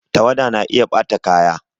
Tawada na iya ɓata kaya